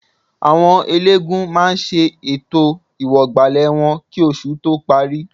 Àwọn eléégún máa ṣe ètò ìwọ̀gbàlẹ̀ wọn kì oṣù tó parí